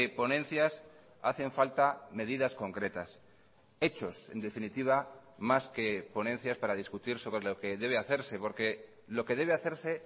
ponencias hacen falta medidas concretas hechos en definitiva más que ponencias para discutir sobre lo que debe hacerse porque lo que debe hacerse